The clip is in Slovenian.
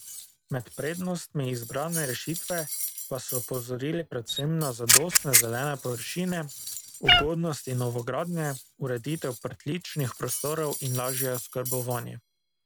Med prednostmi izbrane rešitve pa so opozorili predvsem na zadostne zelene površine, ugodnosti novogradnje, ureditev pritličnih prostorov in lažje oskrbovanje.